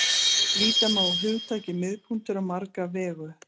Líta má á hugtakið miðpunktur á marga vegu.